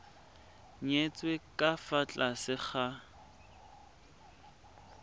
nyetswe ka fa tlase ga